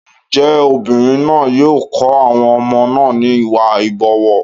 Ǹjẹ́ obìnrin náà yóò kọ́ àwọn ọmọ náà ní Ìwà ìbọ̀wọ̀?